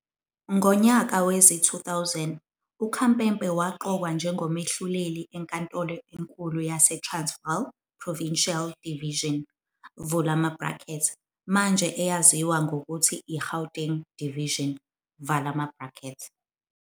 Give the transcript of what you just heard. Ngo nyaka wezi -2000 uKhampepe waqokwa njengomehluleli enkantolo enkulu yase Transvaal Provincial Division, manje eyaziwa ngokuthi iGauteng Division.